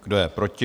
Kdo je proti?